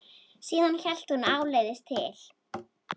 Síðan hélt hún áleiðis til